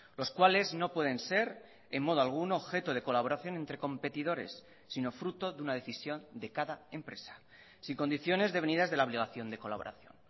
los cuales no pueden ser en modo alguno objeto de colaboración entre competidores sino fruto de una decisión de cada empresa sin condiciones devenidas de la obligación de colaboración